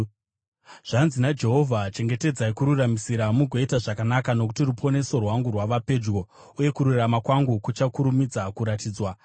Zvanzi naJehovha: “Chengetedzai kururamisira mugoita zvakanaka, nokuti ruponeso rwangu rwava pedyo, uye kururama kwangu kuchakurumidza kuratidzwa.